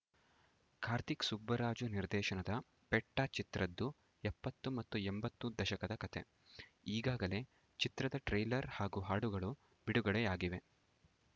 ಕಾರ್ತಿಕ್‌ ಸುಬ್ಬರಾಜು ನಿರ್ದೇಶನದ ಪೆಟ್ಟ ಚಿತ್ರದ್ದು ಎಪ್ಪತ್ತು ಮತ್ತು ಎಂಬತ್ತು ದಶಕದ ಕಥೆ ಈಗಾಗಲೇ ಚಿತ್ರದ ಟ್ರೇಲರ್‌ ಹಾಗೂ ಹಾಡುಗಳು ಬಿಡುಗಡೆಯಾಗಿವೆ